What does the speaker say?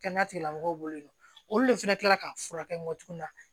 Kɛnɛya tigilamɔgɔw bolo olu de fana kila la ka furakɛ tuguni